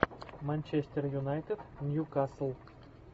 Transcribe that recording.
манчестер юнайтед ньюкасл